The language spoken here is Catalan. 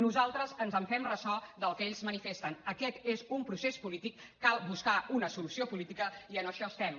nosaltres ens fem ressò del que ells manifesten aquest és un procés polític cal buscar hi una solució política i en això estem